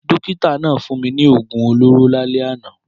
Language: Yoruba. Dókítà náà fún mi ní oògùn olóró lálẹ́ àná.